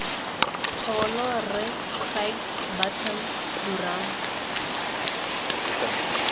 pholo rre craig burton durham